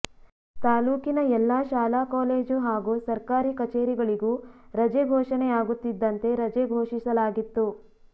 ತಾಲೂಕಿನ ಎಲ್ಲಾ ಶಾಲಾ ಕಾಲೇಜು ಹಾಗೂ ಸರ್ಕಾರಿ ಕಛೇರಿಗಳಿಗು ರಜೆ ಘೋಷಣೆಯಾಗುತ್ತಿದ್ದಂತೆ ರಜೆ ಘೋಷಿಸಲಾಗಿತ್ತು